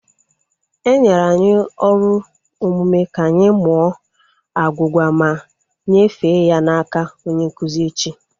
Enyere anyi ọrụ omume ka anyị mụọ agwugwa ma nyefee ya n'aka onye nkụzi echi